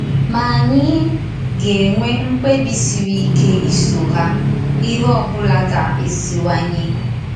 Ma ànyì ga-ènwè mkpebi siri ike iso hà, íhè ọbụla gà-èsìwànýè.